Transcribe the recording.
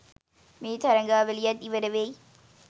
මේ තරඟාවලියත් ඉවර වෙයි.